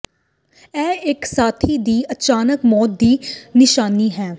ਇਹ ਇੱਕ ਸਾਥੀ ਦੀ ਅਚਾਨਕ ਮੌਤ ਦੀ ਨਿਸ਼ਾਨੀ ਹੈ